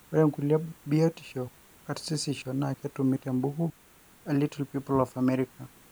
ore nkulie biotisho karsisisho na ketumi te mbuki e little people of america